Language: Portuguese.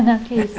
Não, que é isso.